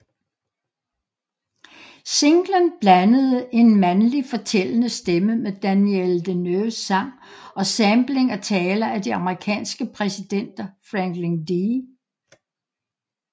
Singlen blandede en mandlig fortællende stemme med Danielle Deneuves sang og sampling af taler af de amerikanske præsidenter Franklin D